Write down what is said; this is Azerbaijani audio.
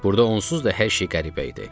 Burda onsuz da hər şey qəribə idi.